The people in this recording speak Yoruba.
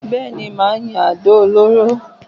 Bẹ́ẹ̀ni, màá yin àdó olóró